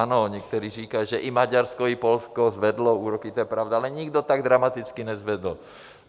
Ano, někteří říkají, že i Maďarsko, i Polsko zvedlo úroky, to je pravda, ale nikdo tak dramaticky nezvedl.